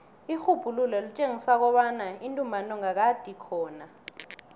irhubhululo litjengisa kobana intumbantonga kade ikhona